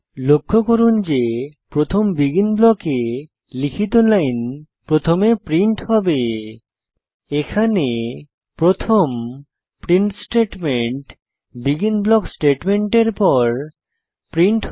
লক্ষ্য করুন যে প্রথম বেগিন ব্লকে লিখিত লাইন প্রথমে প্রিন্ট হবে এবং স্ক্রিপ্টে প্রথম প্রিন্ট স্টেটমেন্ট বেগিন ব্লক স্টেটমেন্টের পর প্রিন্ট হবে